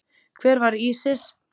Hver var Ísis?